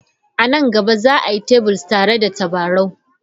A nan gaba, za a yi Tables tare da tabarau.